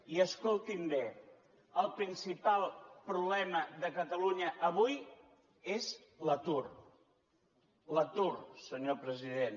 i escolti’m bé el principal problema de catalunya avui és l’atur l’atur senyor president